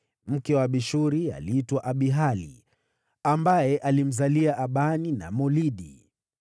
Mke wa Abishuri aliitwa Abihaili, ambaye alimzalia Abani na Molidi.